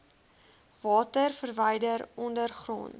water verwyder ondergronds